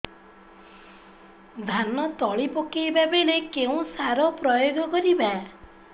ଧାନ ତଳି ପକାଇବା ବେଳେ କେଉଁ ସାର ପ୍ରୟୋଗ କରିବା